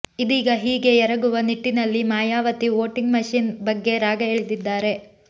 ಇದೀಗ ಹೀಗೆ ಎರಗುವ ನಿಟ್ಟಿನಲ್ಲಿ ಮಾಯಾವತಿ ವೋಟಿಂಗ್ ಮೆಷಿನ್ ಬಗ್ಗೆ ರಾಗ ಎಳೆದಿದ್ದಾರೆ